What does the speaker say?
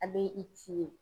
ye.